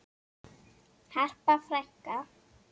Harpa frænka.